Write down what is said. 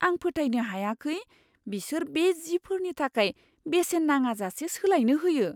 आं फोथायनो हायाखै बिसोर बे जिफोरनि थाखाय बेसेन नाङाजासे सोलायनो होयो!